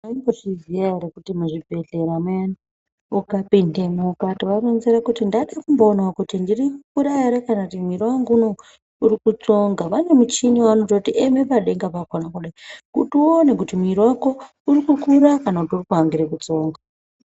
Maimbozviziya ere kuti muzvibhedhlera muyani ukapindemo ukatoaronzera kuti ndaide kumboonawo kuti ndirikukura ere kana kuti mwiri wangu urikutsonha, vane muchini wavanototi eme padenga pakona kudai kuti uwone kuti mwiri wako urikukura kana urikuangore kutsonga.